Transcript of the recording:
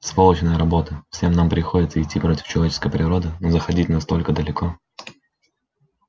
сволочная работа всем нам приходится идти против человеческой природы но заходить настолько далеко